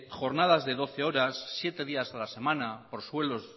jornadas de doce horas siete días a la semana